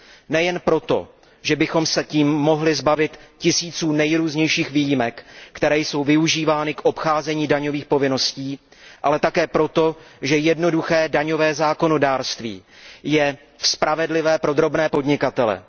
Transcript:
Nejen proto, že bychom se tím mohli zbavit tisíců nejrůznějších výjimek, které jsou využívány k obcházení daňových povinností, ale také proto, že jednoduché daňové zákonodárství je spravedlivé pro drobné podnikatele.